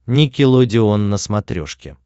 никелодеон на смотрешке